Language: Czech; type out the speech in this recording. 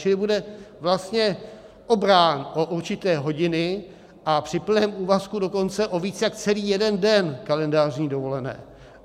Čili bude vlastně obrán o určité hodiny a při plném úvazku dokonce o víc jak celý jeden den kalendářní dovolené.